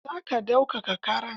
Za ka daukaka ƙarar?